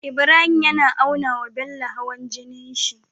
Ibrahim yAna aunawa Bello hawan jinin shi